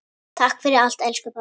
Takk fyrir allt, elsku pabbi.